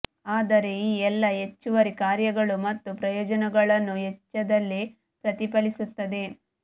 ಆದರೆ ಈ ಎಲ್ಲಾ ಹೆಚ್ಚುವರಿ ಕಾರ್ಯಗಳು ಮತ್ತು ಪ್ರಯೋಜನಗಳನ್ನು ವೆಚ್ಚದಲ್ಲಿ ಪ್ರತಿಫಲಿಸುತ್ತದೆ